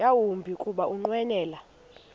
yawumbi kuba ukunqwenela